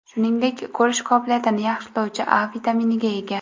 Shuningdek, ko‘rish qobiliyatini yaxshilovchi A vitaminiga ega.